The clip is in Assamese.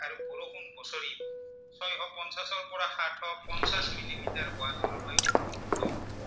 উত্তম